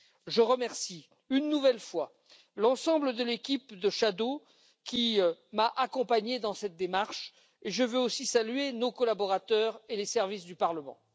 Je remercie une nouvelle fois l'ensemble de l'équipe des rapporteurs fictifs qui m'a accompagné dans cette démarche et je veux aussi saluer nos collaborateurs et les services du Parlement.